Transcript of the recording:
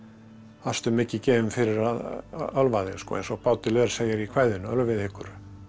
varstu mikið gefinn fyrir að ölva þig eins og Baudelaire segir í kvæðinu ölvið ykkur